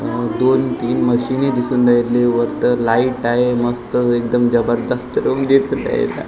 अ दोन तीन मशीनी दिसून येतलं वरतं लाईट आहे मस्त एकदम जबरदस्त रूम घेतलेली आहे इत --